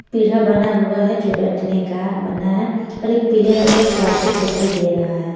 पीढ़ा बना हुआ है जो बैठने का बना है और एक पीले रंग का प्लास्टिक दिखाई दे रहा है।